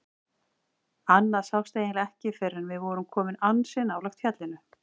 Annað sást eiginlega ekki fyrr en við vorum komin ansi nálægt fjallinu.